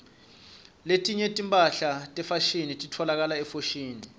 letinye timphahla tefashini titfolakala efoshini